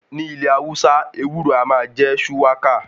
Ní ilẹ̀ Hausa, ewúro a máa jẹ́ ṣúwákà.